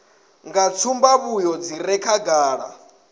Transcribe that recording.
nga tsumbavhuyo dzi re khagala